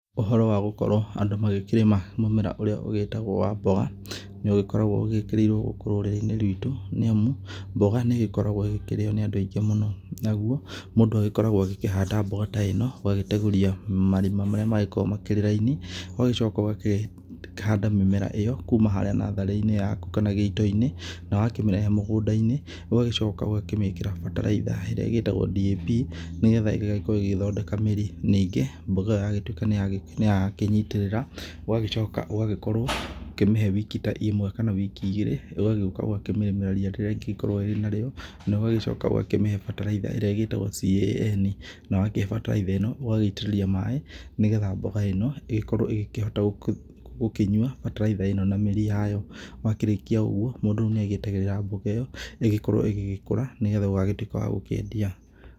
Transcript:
Ũhoro wa gũkorwo andũ magĩkĩrĩma mũmera ũrĩa ũgĩtagwo wa mboga nĩũgĩkoragwo ũgĩkĩrĩirwo rũrĩrĩinĩ witũ nĩamu, mboga nĩgĩkoragwo ĩkĩrĩwo nĩ andũ aingĩ mũno nagwo mũndũ agĩkoragwo akĩhanda mboga ta ĩno ũgagitenguria marima marĩa magĩkoragwo marĩ raini, ũgagĩcoka ũgakĩhanda mĩmera ĩyo kuuma harĩa natharĩinĩ yaku nginya gitoinĩ na wakĩreta mũgũndainĩ ũgacoka ũgakĩmĩkĩra bataraitha irĩa ĩtagwo DAP nĩgetha ĩgagĩkorwo ĩgĩthondeka mĩrĩ mingĩ, mboga ĩgagĩtuĩka nĩakĩnyitĩrĩra, ũgagĩcoka ũgagĩkorwo ũkĩmĩhe wiki ta ĩmwe kana wiki igĩrĩ ũgagĩũka ũgakĩrĩmĩra ta nyeki ĩgĩkorwa nayo na ũgagĩcoka ũgakĩmĩhe bataraitha ĩrĩa ĩgĩtagwo CAN, na ũgaitĩrĩria maĩ nĩgetha mboga ĩno ĩgikorwe ĩgĩkĩhota gũkĩnyua bataraitha ĩno na mĩrĩ yayo, warĩkia ũguo mũndũ nĩagĩtereraga mboga ĩyo ĩkorwe ĩgĩkũra nĩgetha ĩtuĩke ya gũkendia.